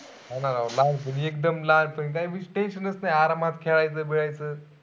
हा ना राव लहान पनी कदम लहान पनी काय tension च नाही. आरामात खेळायच बीळायच.